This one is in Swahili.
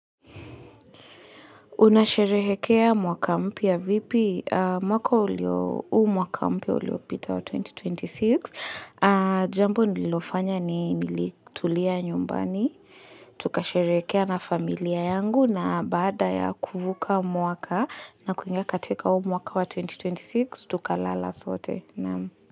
Unasherehekea mwaka mpya vipi mwaka ulio mwaka mpya uliopita wa 2026. Jambo nililofanya ni nilitulia nyumbani. Tukasherekea na familia yangu na baada ya kuvuka mwaka na kuingia katika mwaka wa 2026 tukalala sote.